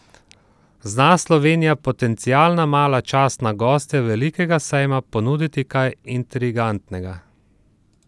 Zna Slovenija, potencialna mala častna gostja velikega sejma, ponuditi kaj intrigantnega?